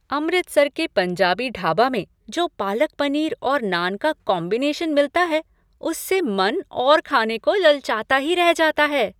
अमृतसर के पंजाबी ढाबा में जो पालक पनीर और नान का कॉम्बिनेशन मिलता है उससे मन और खाने को ललचाता ही रह जाता है।